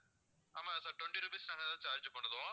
ஆமா sir twenty rupees charge பண்ணுதோம்